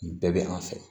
Nin bɛɛ bɛ an fɛ